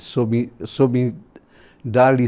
soube dar